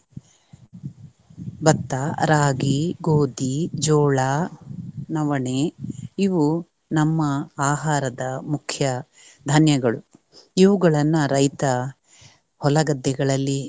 ಭತ್ತ, ರಾಗಿ, ಗೋಧಿ, ಜೋಳ, ನವಣೆ ಇವು ನಮ್ಮ ಆಹಾರದ ಮುಖ್ಯ ಧಾನ್ಯಗಳು ಇವುಗಳನ್ನ ರೈತ ಹೊಲಗದ್ದೆಗಳಲ್ಲಿ